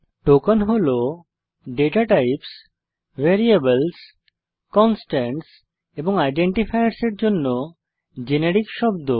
token হল data types variables constants এবং identifiers এর জন্য জেনেরিক শব্দ